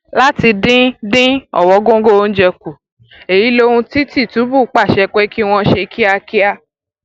láti dín dín ọwọngọgọ oúnjẹ kù èyí lohun tí tìtúbù pàṣẹ pé kí wọn ṣe kíákíá